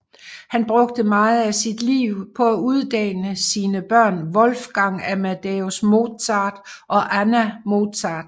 Han brugte meget af sit liv på at uddanne sine børn Wolfgang Amadeus Mozart og Anna Mozart